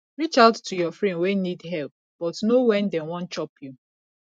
reach out to your friend wey need help but know when dem wan chop you